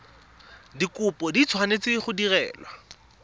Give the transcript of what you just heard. dikopo di tshwanetse go direlwa